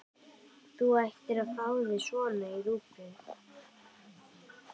Þú ættir að fá þér svona í rúgbrauðið!